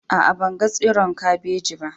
A'a, ban gan tsiron kabeji ba.